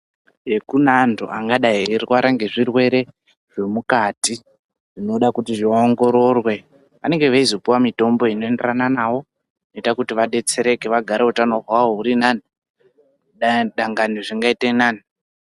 Kune antu angadai eirwara nezvirwere zvemukati zvinoda kuti zviongororwe vanenge veizopiwa mitombo inoenderana nayo inoita kuti vadetsereke vagare utano hwawo hurinani, dangani zvingaite nani.